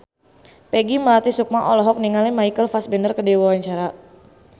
Peggy Melati Sukma olohok ningali Michael Fassbender keur diwawancara